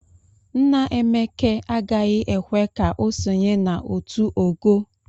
Nna Emeke agaghị ekwe ka o sonye na otu o ogoo.